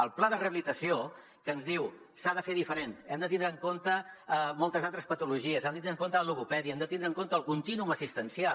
el pla de rehabilitació que ens diu s’ha de fer diferent hem de tindre en compte moltes altres patologies hem de tindre en compte la logopèdia hem de tindre en compte el contínuum assistencial